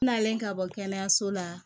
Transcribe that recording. N nalen ka bɔ kɛnɛyaso la